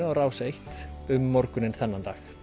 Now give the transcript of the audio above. á Rás einn um morguninn þennan dag